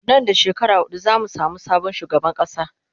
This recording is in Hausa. Nan da shekara hudu zamu samu sabon shugaban kasa